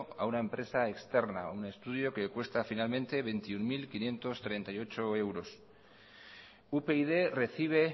a una empresa externa un estudio que cuesta finalmente veintiuno mil quinientos treinta y ocho euros upyd recibe